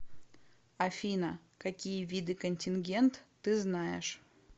афина какие виды контингент ты знаешь